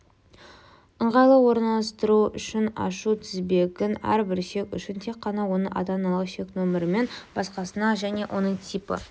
ыңғайлы орналастыруы үшін ашу тізбегін әрбір шек үшін тек қана оның ата-аналық шек нөмірінен басқасынан және оның типі